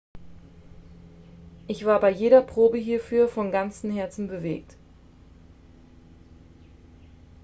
ich war bei jeder probe hierfür von ganzem herzen bewegt